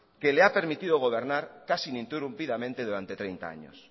que le ha permitido gobernar casi ininterrumpidamente durante treinta años